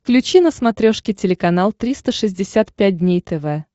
включи на смотрешке телеканал триста шестьдесят пять дней тв